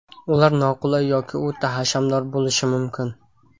Ular noqulay yoki o‘ta hashamdor bo‘lishi mumkin.